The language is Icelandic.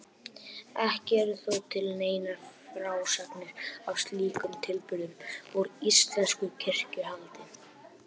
Ekki eru þó til neinar frásagnir af slíkum tilburðum úr íslensku kirkjuhaldi.